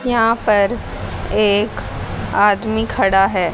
यहां पर एक आदमी खड़ा है।